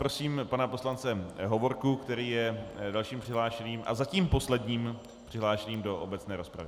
Prosím pana poslance Hovorku, který je dalším přihlášeným a zatím posledním přihlášeným do obecné rozpravy.